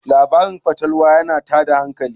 labarin fatalwa yana tada hankali